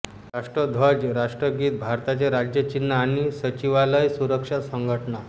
राष्ट्रध्वज राष्ट्रगीत भारताचे राज्य चिन्ह आणि सचिवालय सुरक्षा संघटना